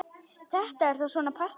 Þetta er þá svona partí!